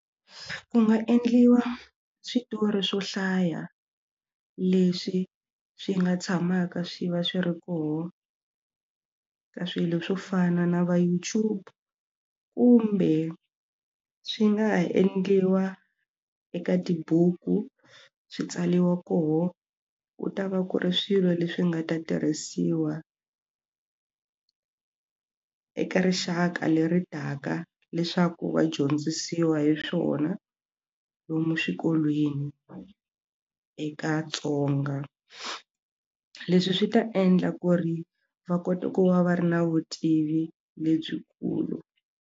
Ku nga endliwa switori swo hlaya leswi swi nga tshamaka swi va swi ri kona ka swilo swo fana na va YouTube kumbe swi nga endliwa eka tibuku swi tsaliwa koho u ta va ku ri swilo leswi nga ta tirhisiwa eka rixaka leri taka leswaku va dyondzisiwa hi swona lomu swikolweni eka tsonga leswi swi ta endla ku ri va kota ku va va ri na vutivi lebyikulu.